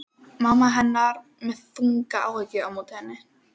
Mamma hennar með þungar áhyggjur á móti henni.